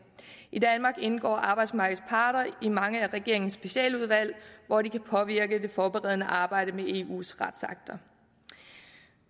i danmark indgår arbejdsmarkedets parter i mange af regeringens specialudvalg hvor de kan påvirke det forberedende arbejde med eus retsakter